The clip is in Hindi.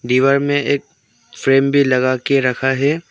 दीवार में एक फ्रेम भी लगा के रखा है।